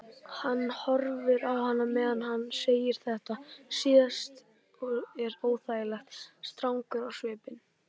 Hann horfir á hana meðan hann segir þetta síðasta og er óþægilega strangur á svipinn.